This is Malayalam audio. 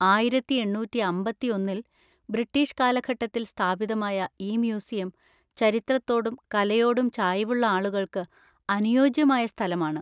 ആയിരത്തി എണ്ണൂറ്റി അമ്പത്തി ഒന്നിൽ ബ്രിട്ടീഷ് കാലഘട്ടത്തിൽ സ്ഥാപിതമായ ഈ മ്യൂസിയം ചരിത്രത്തോടും കലയോടും ചായ്‌വുള്ള ആളുകൾക്ക് അനുയോജ്യമായ സ്ഥലമാണ്.